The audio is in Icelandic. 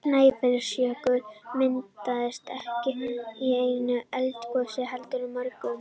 Snæfellsjökull myndaðist ekki í einu eldgosi heldur mörgum.